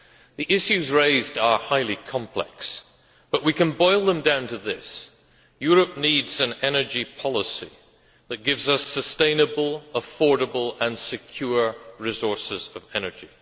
The issues raised are highly complex, but we can boil them down to this Europe needs an energy policy that gives us sustainable, affordable and secure resources of energy.